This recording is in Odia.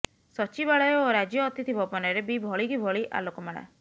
ସଚିବାଳୟ ଓ ରାଜ୍ୟ ଅତିଥି ଭବନରେ ବି ଭଳିକି ଭଳି ଆଲୋକମାଳା